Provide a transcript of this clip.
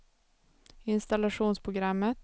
installationsprogrammet